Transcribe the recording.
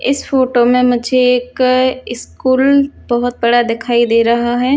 इस फोटो में मुझे एक स्कूल बहोत बड़ा दिखाई दे रहा है।